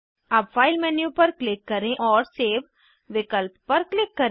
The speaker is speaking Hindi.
अब फाइल मेन्यू पर क्लिक करें और सेव विकल्प पर क्लिक करें